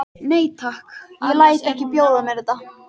Nei, takk, ég læt ekki bjóða mér þetta!